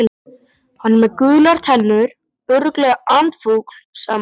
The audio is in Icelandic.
Hann er með gular tennur, örugglega andfúll sagði Magga.